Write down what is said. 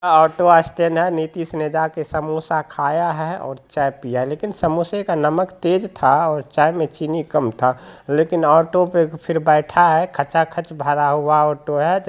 Auto stand है नीतीश ने जाके समोसा खाया है और चाय पिया है लेकिन समोसे का नमक तेज था और चाय में चीनी कम था लेकिन ऑटो पर फिर बैठा है खचा खच भड़ा हुआ ऑटो है।